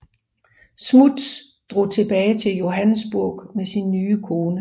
Smuts drog tilbage til Johannesburg med sin nye kone